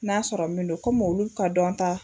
N'a sɔrɔ min don komi olu ka dɔn ta